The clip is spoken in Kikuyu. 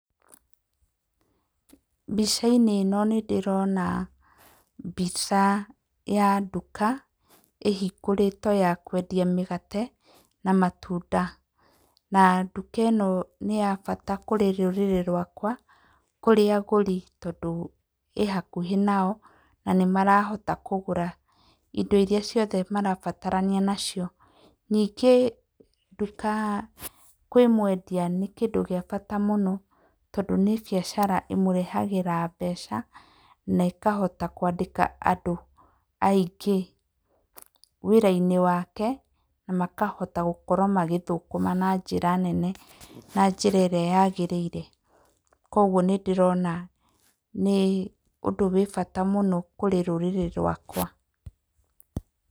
Mbica-inĩ ĩno nĩ ndĩrona mbica ya nduka ĩhingũrĩtwo ya kwendia mĩgate na matunda, na nduka ĩno nĩ ya bata kũrĩ rũrĩrĩ rwakwa kũrĩ agũri, tondũ ĩhakuhĩ nao na nĩmarahota kũgũra indo iria ciothe marabatarania nacio. Ningĩ nduka kwĩ mwendia nĩ kĩndũ gĩa bata mũno, tondũ nĩ mbiacara ĩmũrehagĩra mbeca na ĩkahota kwandĩka andũ aingĩ wĩra-inĩ wake na makahota gũkorwo magĩthũkũma na njĩra nene na njĩra ĩrĩa yagĩrĩire. Koguo nĩ ndĩrona nĩ ũndũ wĩ bata mũno kũrĩ rũrĩrĩ rwakwa.